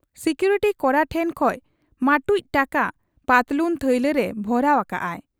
Security ᱠᱚᱲᱟ ᱠᱚᱲᱟ ᱴᱷᱮᱫ ᱠᱷᱚᱱ ᱢᱟᱹᱴᱩᱡ ᱴᱟᱠᱟ ᱯᱟᱹᱛᱞᱩᱱ ᱛᱷᱟᱹᱭᱞᱟᱜᱨᱮ ᱵᱷᱚᱨᱟᱣ ᱟᱠᱟᱜ ᱟᱭ ᱾